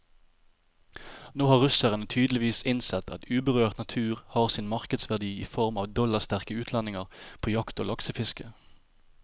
Nå har russerne tydeligvis innsett at uberørt natur har sin markedsverdi i form av dollarsterke utlendinger på jakt og laksefiske.